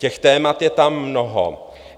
Těch témat je tam mnoho.